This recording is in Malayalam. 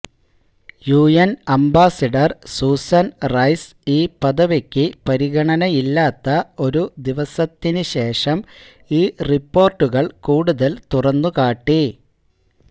യുഎൻ അംബാസിഡർ സൂസൻ റൈസ് ഈ പദവിക്ക് പരിഗണനയില്ലാത്ത ഒരു ദിവസത്തിനു ശേഷം ഈ റിപ്പോർട്ടുകൾ കൂടുതൽ തുറന്നുകാട്ടി